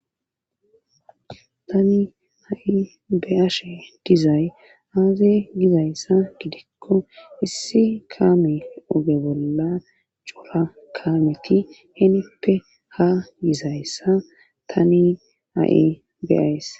tani a7i beaashe dizay aaze gizayssa gidikko issi kami oge bolla cora kamiti henippe ha gizayssa tani a7i beays